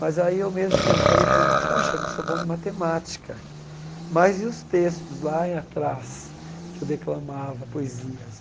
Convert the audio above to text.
Mas aí eu mesmo per falei para mim, puxa, não sou bom de matemática, mas e os textos lá atrás que eu declamava poesias?